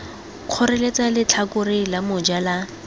kgoreletsa letlhakore la moja la